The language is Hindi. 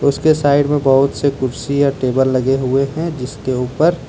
उसके साइड में बहोत से कुर्सी या टेबल लगे हुए हैंजिसके ऊपर--